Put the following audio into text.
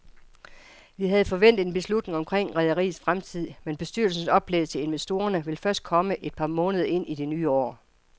Vi havde forventet en beslutning omkring rederiets fremtid, men bestyrelsens oplæg til investorerne vil først komme et par måneder ind i det nye år.